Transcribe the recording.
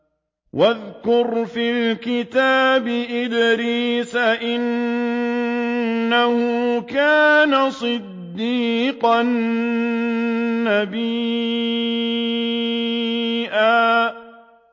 وَاذْكُرْ فِي الْكِتَابِ إِدْرِيسَ ۚ إِنَّهُ كَانَ صِدِّيقًا نَّبِيًّا